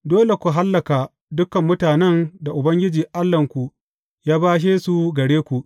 Dole ku hallaka dukan mutanen da Ubangiji Allahnku ya bashe su gare ku.